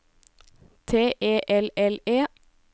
T E L L E